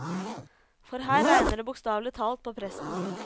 For her regner det bokstavelig talt på presten.